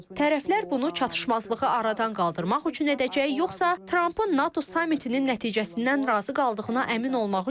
Tərəflər bunu çatışmazlığı aradan qaldırmaq üçün edəcək yoxsa Trampın NATO samitinin nəticəsindən razı qaldığına əmin olmaq üçün?